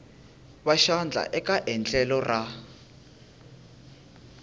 va xandla eka endlelo ra